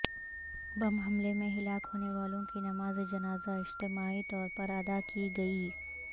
بم حملے میں ہلاک ہونے والوں کی نماز جنازہ اجتماعی طور پر ادا کی گئی